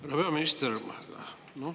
Härra peaminister!